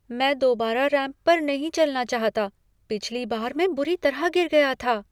मैं दोबारा रैंप पर नहीं चलना चाहता। पिछली बार मैं बुरी तरह गिर गया था.